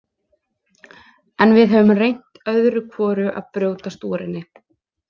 En við höfum reynt öðru hvoru að brjótast úr henni.